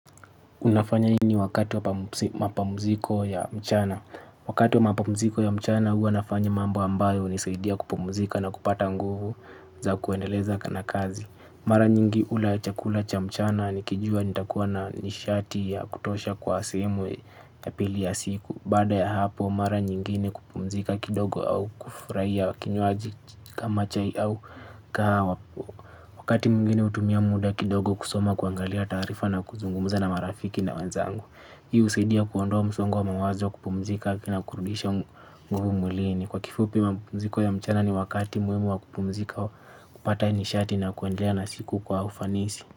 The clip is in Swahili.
Unafanya nini wakati wa mapamuziko ya mchana. Wakati wa mapamuziko ya mchana huwa nafanya mambo ambayo unisaidia kupumuzika na kupata nguvu za kuendeleza na kazi. Mara nyingi hula chakula cha mchana nikijua nitakuwa na nishati ya kutosha kwa sehemu ya pili ya siku. Baada ya hapo mara nyingine kupumuzika kidogo au kufurahia kinywaji kama chai au kahawa. Wakati mwingine utumia muda kidogo kusoma kuangalia taarifa na kuzungumuza na marafiki na wenzangu. Hii usaidia kuondoa msongo wa mawazo kupumzika na kurudisha nguvu mwilini. Kwa kifupi mapumziko ya mchana ni wakati muhimu wa kupumzika kupata nishati na kuendelea na siku kwa ufanisi.